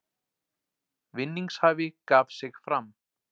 Vinningshafi gaf sig fram